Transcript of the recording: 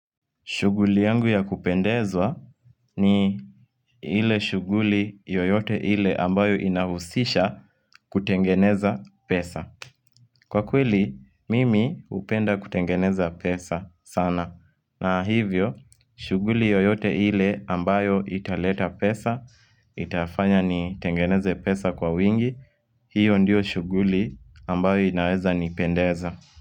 Shughuli yangu ya kupendeza ni ile shuguli yoyote ile ambayo inahuzisha kutengeneza pesa. Kwa kweli, mimi hupenda kutengeneza pesa sana. Na hivyo, shughuli yoyote ile ambayo italeta pesa, nitafanya nitengeneze pesa kwa wingi, hiyo ndio shughuli ambayo inaweza nipendeza.